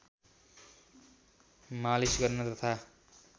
मालिश गर्न तथा